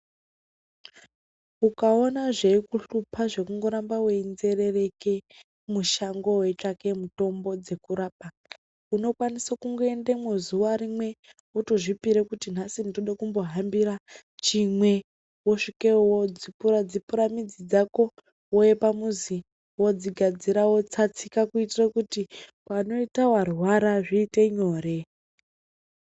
Ukaona zveikuhlupha zvekungoramba weinzerereke mushango weitsvake mitombo dzekurapa unokwanisa kungoendemwo zuwa rimwe wotozvipire kuti nhasi ndoda kumbohambira chimwe wosvikeyo wodzipura dzipura midzi dzako wouya pamuzi wodzigadzira wotsatsika kuitira kuti panoita warwara zvoita nyore.